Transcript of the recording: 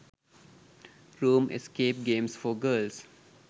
room escape games for girls